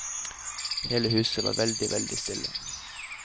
Hele huset var veldig, veldig stille.